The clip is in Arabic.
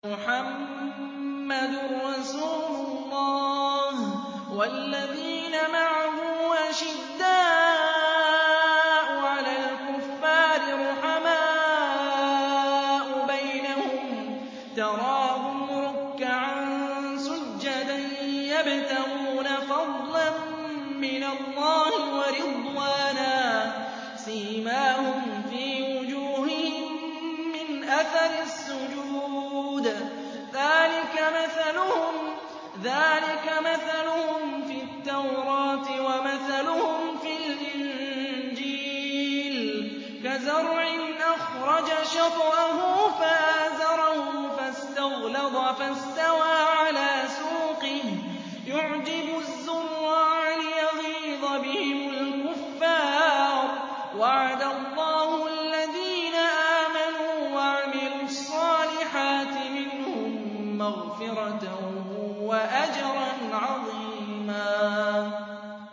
مُّحَمَّدٌ رَّسُولُ اللَّهِ ۚ وَالَّذِينَ مَعَهُ أَشِدَّاءُ عَلَى الْكُفَّارِ رُحَمَاءُ بَيْنَهُمْ ۖ تَرَاهُمْ رُكَّعًا سُجَّدًا يَبْتَغُونَ فَضْلًا مِّنَ اللَّهِ وَرِضْوَانًا ۖ سِيمَاهُمْ فِي وُجُوهِهِم مِّنْ أَثَرِ السُّجُودِ ۚ ذَٰلِكَ مَثَلُهُمْ فِي التَّوْرَاةِ ۚ وَمَثَلُهُمْ فِي الْإِنجِيلِ كَزَرْعٍ أَخْرَجَ شَطْأَهُ فَآزَرَهُ فَاسْتَغْلَظَ فَاسْتَوَىٰ عَلَىٰ سُوقِهِ يُعْجِبُ الزُّرَّاعَ لِيَغِيظَ بِهِمُ الْكُفَّارَ ۗ وَعَدَ اللَّهُ الَّذِينَ آمَنُوا وَعَمِلُوا الصَّالِحَاتِ مِنْهُم مَّغْفِرَةً وَأَجْرًا عَظِيمًا